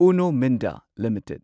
Uno Minda limited